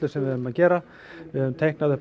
sem við erum að gera við höfum teiknað upp